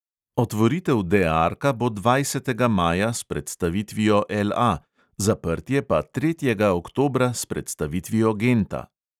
Otvoritev de arka bo dvajsetega maja s predstavitvijo LA, zaprtje pa tretjega oktobra s predstavitvijo genta.